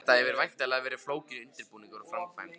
Þetta hefur væntanlega verið flókinn undirbúningur og framkvæmd?